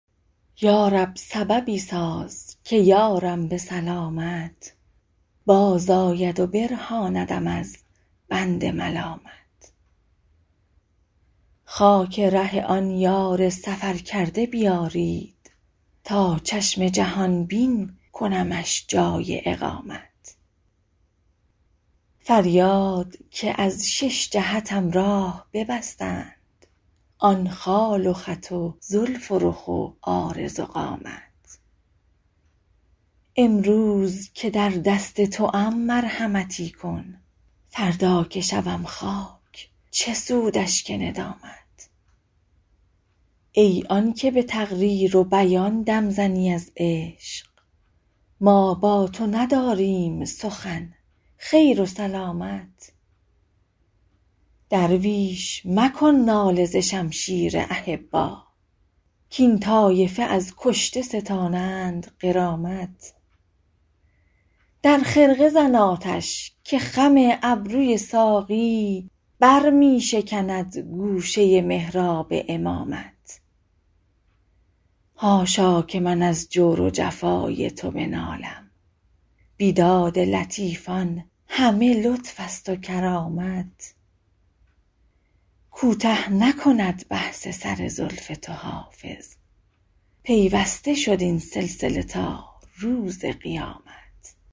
یا رب سببی ساز که یارم به سلامت بازآید و برهاندم از بند ملامت خاک ره آن یار سفرکرده بیارید تا چشم جهان بین کنمش جای اقامت فریاد که از شش جهتم راه ببستند آن خال و خط و زلف و رخ و عارض و قامت امروز که در دست توام مرحمتی کن فردا که شوم خاک چه سود اشک ندامت ای آن که به تقریر و بیان دم زنی از عشق ما با تو نداریم سخن خیر و سلامت درویش مکن ناله ز شمشیر احبا کاین طایفه از کشته ستانند غرامت در خرقه زن آتش که خم ابروی ساقی بر می شکند گوشه محراب امامت حاشا که من از جور و جفای تو بنالم بیداد لطیفان همه لطف است و کرامت کوته نکند بحث سر زلف تو حافظ پیوسته شد این سلسله تا روز قیامت